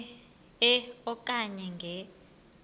e okanye nge